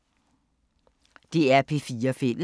DR P4 Fælles